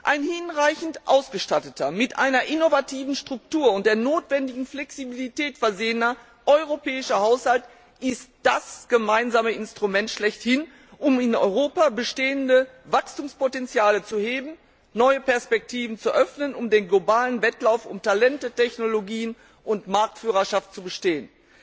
Ein hinreichend ausgestatteter, mit einer innovativen Struktur und der notwendigen Flexibilität versehener europäischer Haushalt ist das gemeinsame Instrument schlechthin, um in Europa bestehende Wachstumspotenziale zu heben, neue Perspektiven zu öffnen, um den globalen Wettlauf um Talente, Technologien und Marktführerschaft zu bestehen!